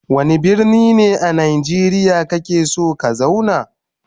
Wanda birni ne a nageriya kake son ka zauna?